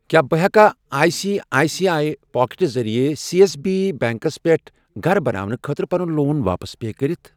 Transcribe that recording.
کیٛاہ بہٕ ہٮ۪کا I C I C I پاکٹہٕ ذٔریعہٕ سیٚ ایٚس بی بیٚنٛکس پٮ۪ٹھ گَرٕ بناونہٕ خٲطرٕ پَنُن لون واپس پے کٔرِتھ؟